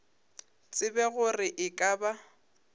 tsebe gore e ka ba